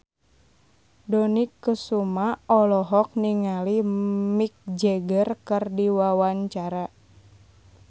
Dony Kesuma olohok ningali Mick Jagger keur diwawancara